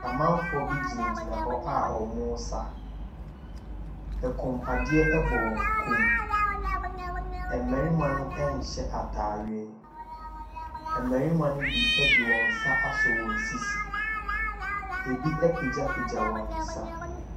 Amanfoɔ bi gyinagyina a wɔresa. Koom adeɛ bɔ wɔn koom. Mmarima no nhyɛ ataadeɛ. Mmarima no bi de wɔn nsa asɔ wɔn sisi. Ebi apegyapegya wɔn nsa.